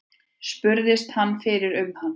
Spurðist hann fyrir um hann.